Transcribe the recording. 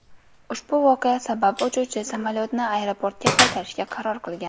Ushbu voqea sabab uchuvchi samolyotni aeroportga qaytarishga qaror qilgan.